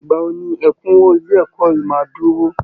Ìgbà wo ni ẹ̀kúnwó ilé ẹ̀kọ́ yìí máa dúró?